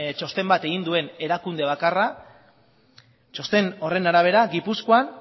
txosten bat egin duen erakunde bakarra txosten horren arabera gipuzkoa